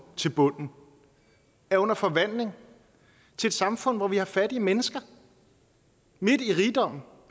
til bunden er under forvandling til et samfund hvor vi har fattige mennesker midt i rigdommen